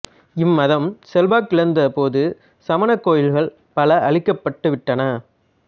இம் மதம் செல்வாக்கிழந்த போது சமணக் கோயில்கள் பல அழிக்கப்பட்டு விட்டன